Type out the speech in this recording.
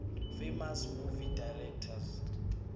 famous movie directors